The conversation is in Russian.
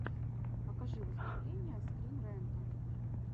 покажи выступления скрин рэнта